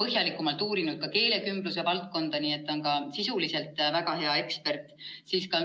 põhjalikumalt uurinud ka keelekümbluse valdkonda, nii et ta on sisuliselt väga hea ekspert.